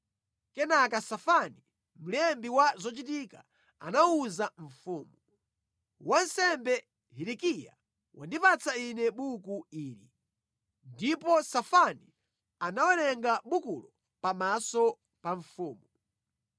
Kenaka Safani, mlembi wa zochitika anawuza mfumu, “Wansembe, Hilikiya wandipatsa ine buku ili.” Ndipo Safani anawerenga bukulo pamaso pa mfumu.